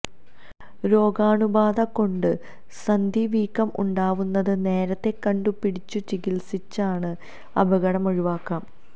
രോഗാണുബാധ കൊണ്ട് സന്ധി വീക്കം ഉണ്ടാവുന്നത് നേരത്തെ കണ്ടു പിടിച്ചു ചികില്സിച്ചാല് അപകടം ഒഴിവാക്കാം